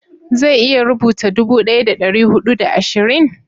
zai iya rubuta dubu daya da dari hudu da ashirin?